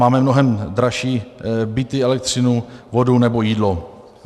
Máme mnohem dražší byty, elektřinu, vodu nebo jídlo.